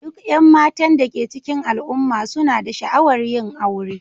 Duk 'yan matan da ke cikin al'umma suna da sha'awar yin aure